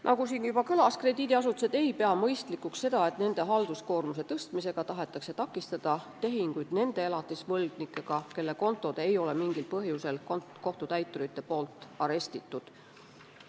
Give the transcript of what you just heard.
Nagu siin juba kõlas, krediidiasutused ei pea mõistlikuks seda, et nende halduskoormuse suurendamisega tahetakse takistada tehinguid nende elatisvõlgnikega, kelle kontosid ei ole kohtutäiturid mingil põhjusel arestinud.